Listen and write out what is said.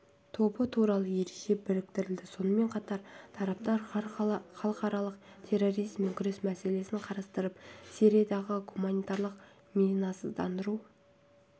тобы туралы ереже бекітіледі сонымен қатар тараптар халықаралық терроризммен күрес мәселесін қарастырып сириядағы гуманитарлық минасыздандыру